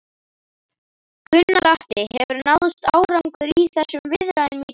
Gunnar Atli: Hefur náðst árangur í þessum viðræðum í dag?